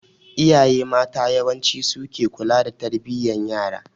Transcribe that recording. Iyaye mata yawanci suke ke kula da tarbiyan yara.